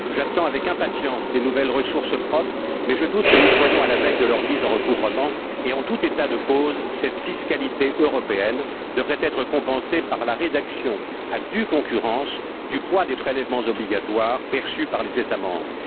J'attends avec impatience les nouvelles ressources propres, mais je doute que nous soyons à la veille de leur mise en recouvrement et, en tout état de cause, cette fiscalité européenne devrait être compensée par la réduction, à due concurrence, du poids des prélèvements obligatoires perçus par les États membres.